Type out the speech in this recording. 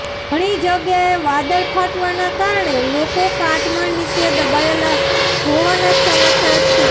ઘણી જગ્યાએ વાદળ ફાટવાના કારણે લોકો કાટમાળ નીચે દબાયેલા હોવાના સમાચાર છે